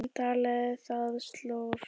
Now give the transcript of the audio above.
Hann taldi það slór.